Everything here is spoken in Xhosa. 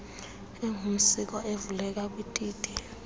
engumsiko evuleleka kwititi